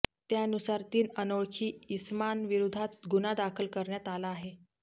त्यानुसार तीन अनोळखी इसमांविरोधात गुन्हा दाखल करण्यात आला आहे